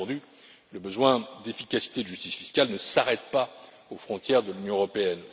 Bien entendu, le besoin d'efficacité et de justice fiscale ne s'arrête pas aux frontières de l'Union européenne.